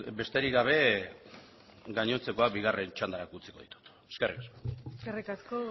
besterik gabe gainontzekoa bigarren txandarako utziko dut eskerrik asko eskerrik asko